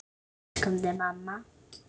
Við elskum þig, mamma.